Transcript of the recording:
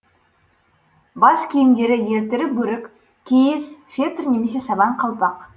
бас киімдері елтірі бөрік киіз фетр немесе сабан қалпақ